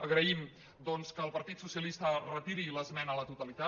agraïm doncs que el partit socialista retiri l’esmena a la totalitat